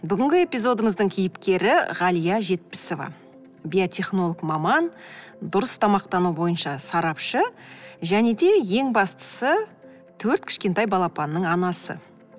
бүгінгі эпизодымыздың кейіпкері ғалия жетпісова биотехнолог маман дұрыс тамақтану бойынша сарапшы және де ең бастысы төрт кішкентай балапанның анасы